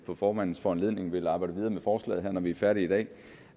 på formandens foranledning vil arbejde videre med forslaget her når vi er færdige i dag